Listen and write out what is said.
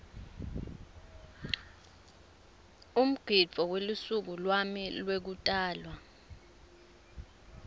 umgidvo welusuku lwami lwekutalwa